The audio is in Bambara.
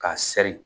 K'a sɛri